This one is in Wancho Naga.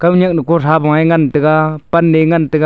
khaoniak nu kotha boi ngan tega pan eh ngan tega.